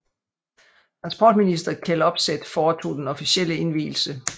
Transportminister Kjell Opseth foretog den officielle indvielse